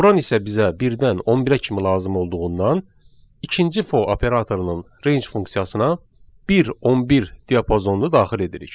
Vuran isə bizə birdən 11-ə kimi lazım olduğundan ikinci for operatorunun range funksiyasına 1-11 diapazonunu daxil edirik.